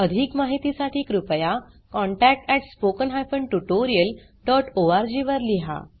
अधिक माहितीसाठी कृपया contact at spoken hyphen tutorial dot O R G वर लिहा